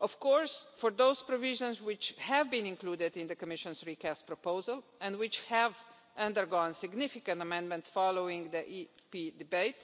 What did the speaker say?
Of course, for those provisions which have been included in the Commission's recast proposal and which have undergone significant amendment following the EP debate,